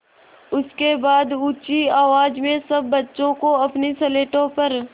उसके बाद ऊँची आवाज़ में सब बच्चों को अपनी स्लेटों पर